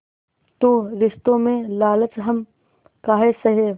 तो रिश्तों में लालच हम काहे सहे